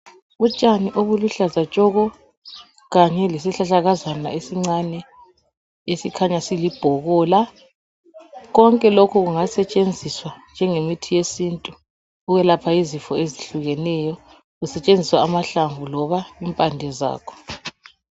Utshani obuluhlaza tshoko kanye lesihlahlakazana esincane esikhanya silibhobola konke lokhu kungasetshenziswa njengemithi yesintu ukwelapha izifo ezihlukeneyo kusetshenziswa amahlamvu loba impande zakho.